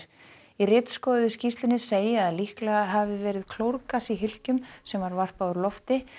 í skýrslunni segi að líklega hafi verið klórgas í hylkjum sem var varpað úr lofti